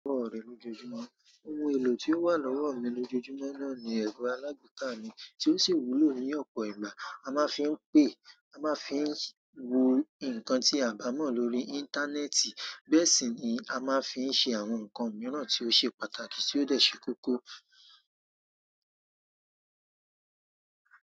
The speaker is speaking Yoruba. Ohun èlò tí ó wà lọ́wọ́ mi lójoojúmọ́ náà ní ẹ̀rọ alágbèéká mi tí ó sì wúlò ní ọ̀pọ̀ ìgbà. A ma n fi pe, a ma n fi wo inkan ti a bamo lórí internet. Bẹ́ẹ̀ sì ni a máa ń fi ṣe àwọn nǹkan mìíràn tí ó ṣe pàtàkì tí ó dẹ̀ ṣe kókó.